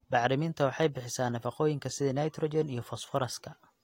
Bacriminta waxay bixisaa nafaqooyinka sida nitrogen iyo fosfooraska.